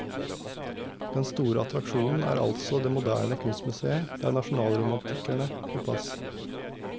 Den store attraksjonen er altså det moderne kunstmuseet der nasjonalromantikerne får plass.